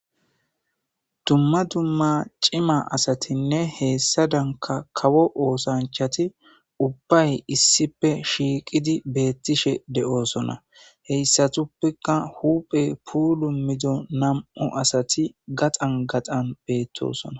Dumma dumma cima asatinne hesadanka kawo osanchat ubbay issippe shiqid betishe de'osona, heysatupeka huphey pulmido nam'u asat gaxan gaxan betosona.